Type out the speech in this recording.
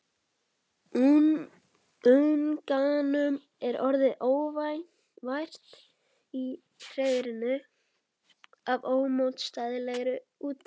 Unganum er orðið óvært í hreiðrinu af ómótstæðilegri útþrá.